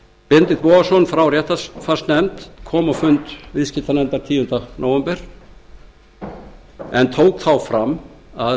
benedikt bogason frá réttarfarsnefnd kom á fund viðskiptanefndar tíunda nóvember síðastliðinn en tók þar fram að